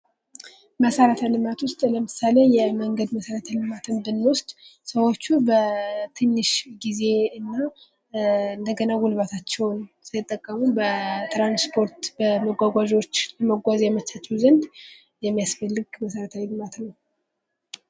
መሰረተ ልማት ዉስጥ ለምሳሌ የመንገድ መሰረተ ልማትን ብንወስድ ሰዎቹ በትንሽ ጊዜ እንደገና ጉልበታቸውን ሳይጠቀሙ በትራንስፖርት በመጕጕዣዎች መጕዝ ያመቻቸው ዘንድ የሚያስፈልግ መሰረታዊ ልማት ነው::